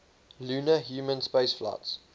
lunar human spaceflights